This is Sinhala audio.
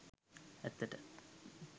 ඇත්තට.